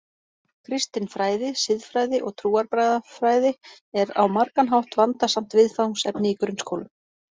Kristin fræði, siðfræði og trúarbragðafræði er á margan hátt vandasamt viðfangsefni í grunnskólum.